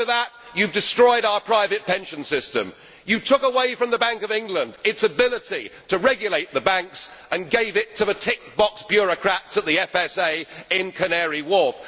To add to that, you have destroyed our private pension system, and you took away from the Bank of England its ability to regulate the banks and gave it to the tick box' bureaucrats of the FSA in Canary Wharf.